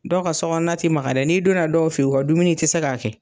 Dɔw ka so kɔnɔ ti maka dɛ n'i donna dɔw fe yen u ka dumuni, i ti se k'a kɛ.